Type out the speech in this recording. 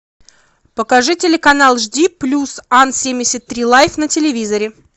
покажи телеканал жди плюс ан семьдесят три лайф на телевизоре